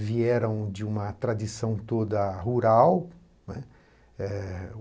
vieram de uma tradição toda rural, né. Eh